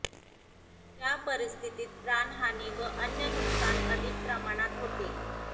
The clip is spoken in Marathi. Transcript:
त्या परिस्थितीत प्राणहानी व अन्य नुकसान अधिक प्रमाणात होते